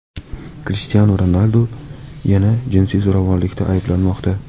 Krishtianu Ronaldu yana jinsiy zo‘ravonlikda ayblanmoqda.